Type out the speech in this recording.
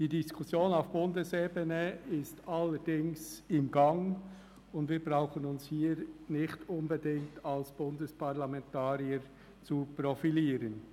Die Diskussion auf Bundesebene ist allerdings in Gang, und wir brauchen uns hier nicht unbedingt als Bundesparlamentarier zu profilieren.